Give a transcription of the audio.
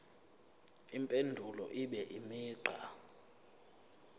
impendulo ibe imigqa